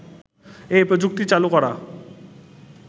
এ প্রযুক্তি চালু করা